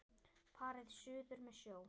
Farið suður með sjó.